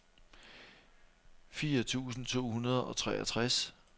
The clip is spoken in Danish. fire tusind to hundrede og treogtres